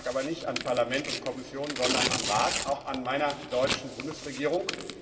Das lag aber nicht an Parlament und Kommission, sondern am Rat auch an meiner deutschen Bundesregierung.